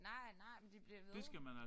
Nej er nej men de bliver ved